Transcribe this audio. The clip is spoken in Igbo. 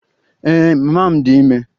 Ee, mama m dị ime